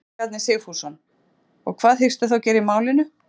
Ingólfur Bjarni Sigfússon: Og hvað hyggstu þá gera í málinu?